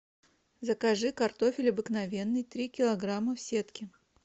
закажи картофель обыкновенный три килограмма в сетке